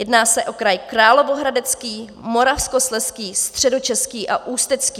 Jedná se o kraj Královéhradecký, Moravskoslezský, Středočeský a Ústecký.